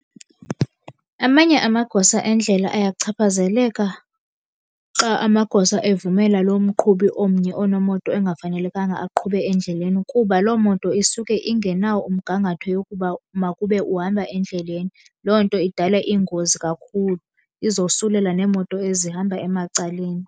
Amanye amagosa endlela ayachaphazeleka xa amagosa evumela loo mqhubi omnye onemoto engafanelekanga aqhube endleleni, kuba loo moto isuke ingenawo umgangatho yokuba makube uhamba endleleni. Loo nto idala iingozi kakhulu, izosulela neemoto ezihamba emacaleni.